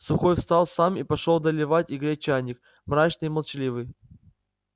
сухой встал сам и пошёл доливать и греть чайник мрачный и молчаливый